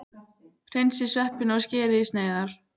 Hreinsið sveppina og skerið í sneiðar.